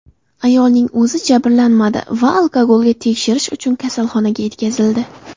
Ayolning o‘zi jabrlanmadi va alkogolga tekshirish uchun kasalxonaga yetkazildi.